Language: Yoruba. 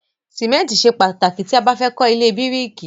Ṣìmẹ́ntì ṣe pàtàkì tí a bá fẹ́ kọ́ ilé bíríìkì.